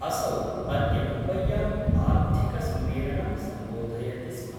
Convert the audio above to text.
असौ अद्य मुम्बय्यां आर्थिक सम्मेलनं सम्बोधयति स्म।